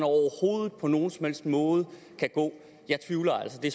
på nogen som helst måde kan gå jeg tvivler altså det